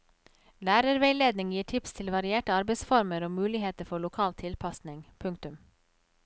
Lærerveiledning gir tips til varierte arbeidsformer og muligheter for lokal tilpasning. punktum